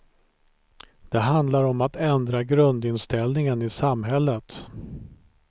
Det handlar om att ändra grundinställningen i samhället.